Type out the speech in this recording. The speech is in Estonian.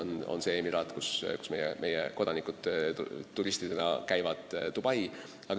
Peamine emiraat, kus meie kodanikud turistidena käivad, on Dubai.